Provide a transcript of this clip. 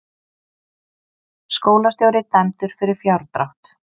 Skólastjóri dæmdur fyrir fjárdrátt